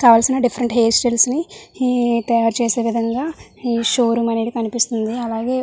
కావాల్సిన different hair styles ని ఈ-తయారు చేసే విధంగా ఈ షో రూమ్ అనేది కనిపిస్తుంది. అలాగే --